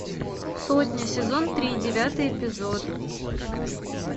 сотня сезон три девятый эпизод